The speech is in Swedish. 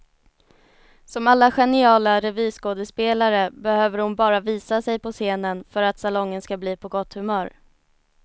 Som alla geniala revyskådespelare behöver hon bara visa sig på scenen för att salongen skall bli på gott humör.